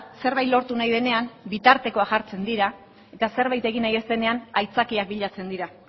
zerbait lortu nahi denean bitartekoak jartzen dira eta zerbait egin nahi ez denean aitzakiak bilatzen dira